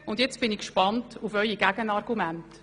Nun bin ich gespannt auf Ihre Gegenargumente.